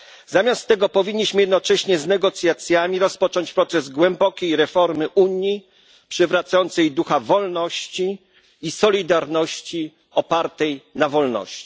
Zamiast tego powinniśmy jednocześnie z negocjacjami rozpocząć proces głębokiej reformy Unii, przywracającej jej ducha wolności i solidarności opartej na wolności.